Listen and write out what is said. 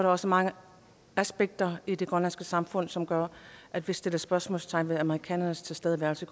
også mange aspekter i det grønlandske samfund som gør at vi sætter spørgsmålstegn ved amerikanernes tilstedeværelse